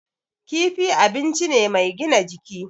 Kifi abinci ne mai gina jiki.